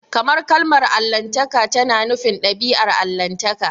Kamar kalmar Allahntaka tana nufin dabi'ar Allahntaka.